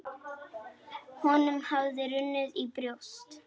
Honum hafði runnið í brjóst.